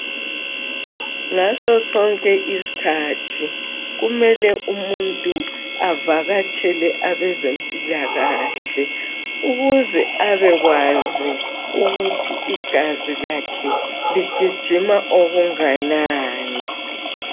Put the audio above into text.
Nasosonke isikhathi kumele umuntu avakatshele abezempilakahle, ukuze abekwazi ukuthi igazi lakhe ligijima okunganani.